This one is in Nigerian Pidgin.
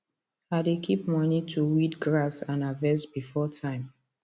i dey keep money to weed grass and harvest before time